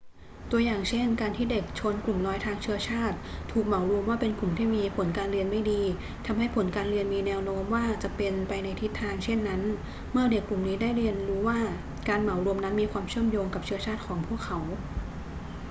ตัวอย่างเช่น การที่เด็กชนกลุ่มน้อยทางเชื้อชาติถูกเหมารวมว่าเป็นกลุ่มที่มีผลการเรียนไม่ดี ทำให้ผลการเรียนมีแนวโน้มว่าจะเป็นไปในทิศทางเช่นนั้นเมื่อเด็กกลุ่มนี้ได้เรียนรู้ว่าการเหมารวมนั้นมีความเชื่อมโยงกับเชื้อชาติของพวกเขา